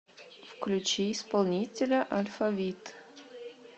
включи исполнителя алфавит